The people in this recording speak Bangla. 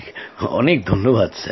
অনেক অনেক ধন্যবাদ